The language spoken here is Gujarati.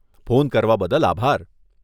ફોન કરવા બદલ આભાર.